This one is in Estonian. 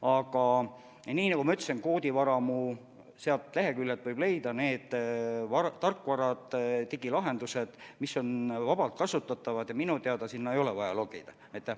Aga nii nagu ma ütlesin, koodivaramu leheküljelt võib leida need tarkvarad ja digilahendused, mis on vabalt kasutatavad, ja minu teada sinna ei ole vaja sisse logida.